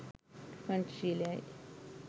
පංච ශීලයයි.